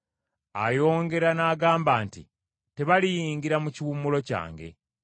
Ayongera n’agamba nti, “Tebaliyingira mu kiwummulo kyange.”